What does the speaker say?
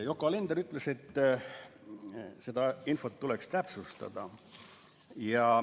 Yoko Alender ütles, et seda infot tuleks täpsustada.